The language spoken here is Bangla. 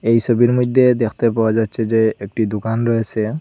এই সবির মইদ্যে দেখতে পাওয়া যাচ্ছে যে একটি দোকান রয়েসে।